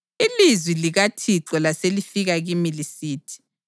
Ilizwi likaThixo laselifika kimi lisithi: